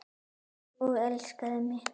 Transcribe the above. Og elskaði mig.